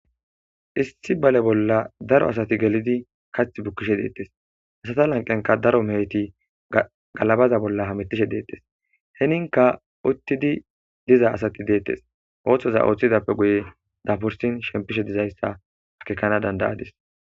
Issi bale bolla daro asati gelidi kathi bukishe detes, iza lanqenka daro meheti galabaza bolla hamutishe detes,heninka utidi diza sati detes, oothiza oothidappe guye daburisin shemipishe dizaysa akekanawu danda'adis.